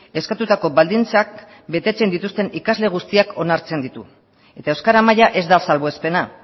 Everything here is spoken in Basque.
eskatutako baldintzak betetzen dituzten ikasle guztiak onartzen ditu eta euskara maila ez da salbuespena